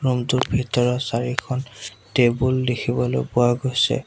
Room টোৰ ভিতৰত চাৰিখন টেবুল দেখিবলৈ পোৱা গৈছে।